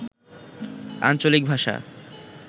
আঞ্চলিক ভাষা